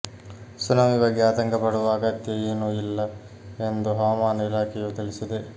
tsunami ಬಗ್ಗೆ ಆತಂಕ ಪಡುವ ಅಗತ್ಯ ಏನೂ ಇಲ್ಲ್ ಎಂದು ಹವಾಮಾನ ಇಲಾಖೆಯು ತಿಳಿಸಿದೆ